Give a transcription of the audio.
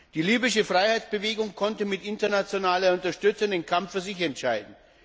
Die libysche Freiheitsbewegung konnte mit internationaler Unterstützung den Kampf für sich entscheiden.